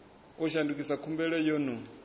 u shandukisa khumbelo yo no